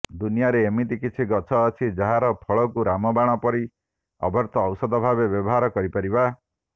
ଦୁନିଆରେ ଏମିତି କିଛି ଗଛ ଅଛି ଯାହାର ଫଳକୁ ରାମବାଣ ପରି ଅବ୍ୟର୍ଥ ଔଷଧଭାବେ ବ୍ୟବହାର କରିପାରିବା